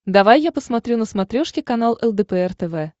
давай я посмотрю на смотрешке канал лдпр тв